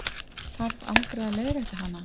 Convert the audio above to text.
Þarf aldrei að leiðrétta hana.